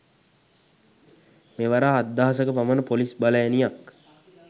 මෙවර හත්දහසක පමණ පොලිස් බලඇණියක්